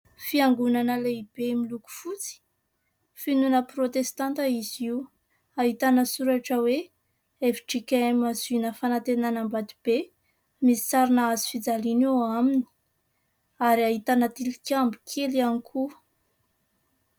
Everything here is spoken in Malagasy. Fiangonana lehibe miloko fotsy. Finoana protestanta izy io. Ahitana soratra hoe "FJKM ziona fanantenana Ambatobe". Misy sarina hazo fijaliana eo aminy ary ahitana tilikambo kely ihany koa.